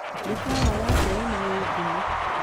Mĩkawa ya Serena ĩĩ ngumo.